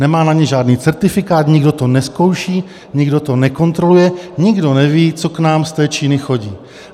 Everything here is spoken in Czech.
Nemá na ně žádný certifikát, nikdo to nezkouší, nikdo to nekontroluje, nikdo neví, co k nám z té Číny chodí.